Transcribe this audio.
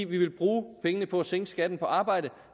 vi vil bruge pengene på at sænke skatten på arbejde